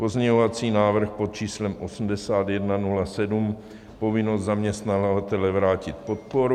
Pozměňovací návrh pod číslem 8107 - povinnost zaměstnavatele vrátit podporu.